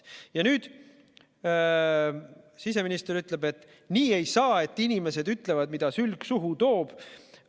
Ja nüüd siseminister ütleb, et nii ei saa, et inimesed ütlevad, mida sülg suhu toob.